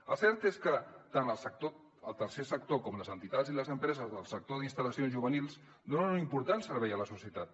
el cert és que tant el tercer sector com les entitats i les empreses del sector d’instal·lacions juvenils donen un important servei a la societat